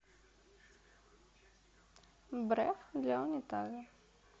бреф для унитаза